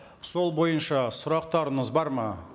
сол бойынша сұрақтарыңыз бар ма